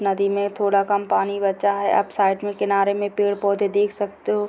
नदी में थोड़ा कम पानी बचा है आप साइड में किनारे में पेड़-पौधा देख सकते हो।